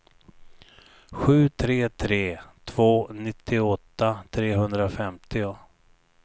sju tre tre två nittioåtta trehundrafemtio